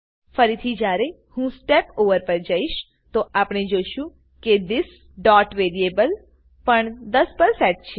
ફરીથી જયારે હું સ્ટેપ ઓવર પર જઈશ તો આપણે જોશું કે thisવેરિએબલ પણ 10 પર સેટ છે